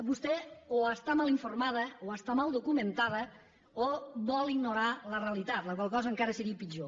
vostè o està mal informada o està mal documentada o vol ignorar la realitat la qual cosa encara seria pitjor